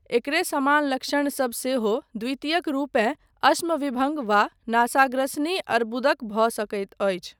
एकरे समान लक्षण सब सेहो द्वितीयक रूपेँ अश्म विभङ्ग वा नासाग्रसनी अर्बुदक भऽ सकैत अछि।